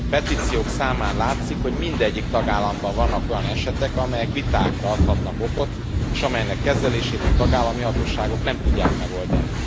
A petíciók számán látszik, hogy mindegyik tagállamban vannak olyan esetek, amelyek vitákra adhatnak okot, és amelyek kezelését a tagállami hatóságok nem tudják megoldani.